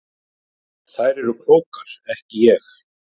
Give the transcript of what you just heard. Þær eru klókar ekki ég.